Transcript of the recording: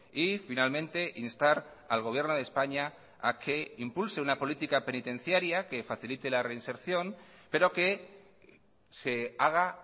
y finalmente instar al gobierno de españa a que impulse una política penitenciaria que facilite la reinserción pero que se haga